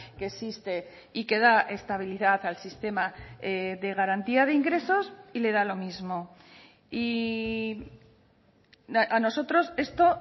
que existe y que da estabilidad al sistema de garantía de ingresos y le da lo mismo y a nosotros esto